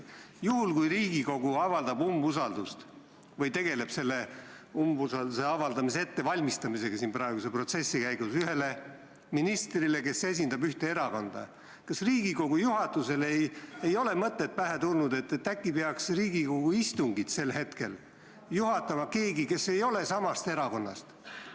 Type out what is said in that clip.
Juhul kui Riigikogu avaldab umbusaldust või valmistab praeguse protsessi käigus ette umbusalduse avaldamist ühele ministrile, kes esindab ühte erakonda, kas siis Riigikogu juhatusele ei ole pähe tulnud mõtet, et äkki peaks Riigikogu istungit sel hetkel juhatama keegi, kes ei ole samast erakonnast?